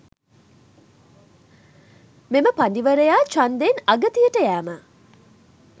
මෙම පඬිවරයා ඡන්දයෙන් අගතියට යෑම